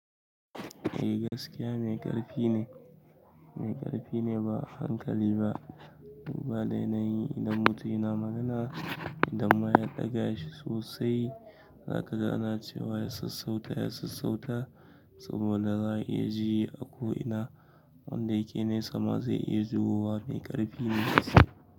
Eh gaskiya mai ƙarfi ne, mai ƙarfi ne ba hankali ba, duba dai na yi idan mutum yana magana idan ma ya ɗaga shi sosai, zaka ga ana cewa ya sassauta, ya sassauta saboda za a iya ji ako ina, wanda yake ne sama zai iya jiyowa mai ƙarfi ne.